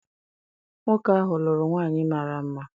Nwoke ahụ lụrụ nwaanyị mara mma.